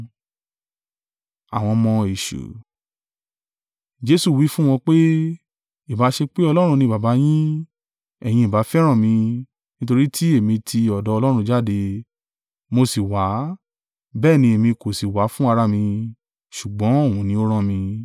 Jesu wí fún wọn pé, “Ìbá ṣe pé Ọlọ́run ni Baba yín, ẹ̀yin ìbá fẹ́ràn mi, nítorí tí èmi ti ọ̀dọ̀ Ọlọ́run jáde, mo sì wá; bẹ́ẹ̀ ni èmi kò sì wá fún ara mi, ṣùgbọ́n òun ni ó rán mi.